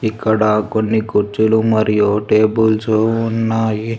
ఇక్కడ కొన్ని కుర్చీలు మరియు టేబుల్సు ఉన్నాయి.